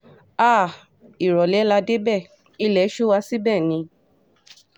háà ìrọ̀lẹ́ la dé débẹ̀ ilé sú wa síbẹ̀ ni